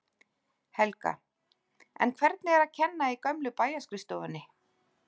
Helga: En hvernig er að kenna í gömlu bæjarskrifstofunni?